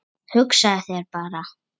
Hugsaðu þér bara!